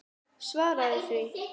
Svaraðu því.